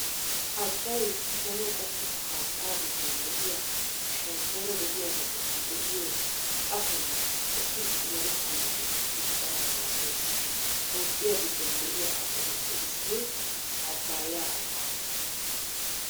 Abbay daro qommo haattaa giddon de'iyaa shemppoora de'iyaabatussi de'iyo qatonne eti yelettanawunne diccanawu maaddees. Toophphiyaa giddon de'iyaa abbatuppe issoy abbaaya abbaa.